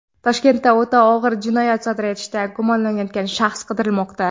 Toshkentda o‘ta og‘ir jinoyat sodir etishda gumonlanayotgan shaxs qidirilmoqda.